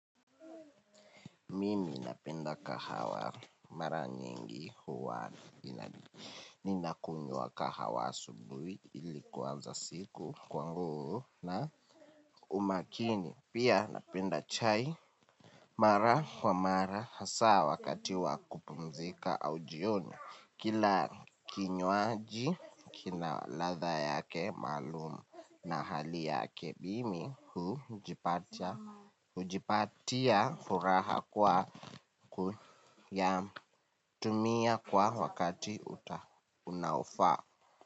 Mimi, napenda kahawa. Mara nyingi, huwa nina kunywa kahawa asubuhi, ili kuanza siku kwangu, na umakini. Pia, napenda chai mara kwa mara, hasa wakati wakupumzika, au jioni. Kila kinywaji, kina latha yake, maalum na hali yake bimi hujipata hujipatia, furaha kwa, kuyatumia kwa wakati uta unofaa.